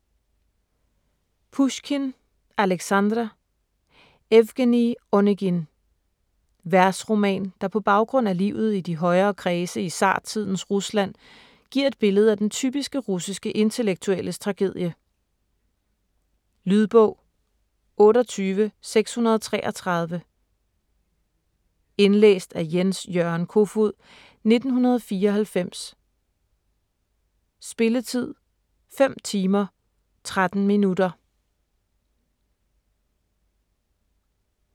Pusjkin, Aleksandr: Evgenij Onegin Versroman der på baggrund af livet i de højere kredse i zartidens Rusland giver et billede af den typiske russiske intellektuelles tragedie. Lydbog 28633 Indlæst af Jens-Jørgen Kofod, 1994. Spilletid: 5 timer, 13 minutter.